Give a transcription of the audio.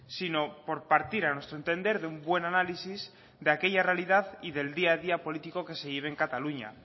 sino por partir a nuestro entender de un buen análisis de aquella realidad y del día a día político que se lleve en cataluña